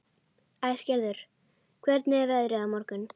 Æsgerður, hvernig er veðrið á morgun?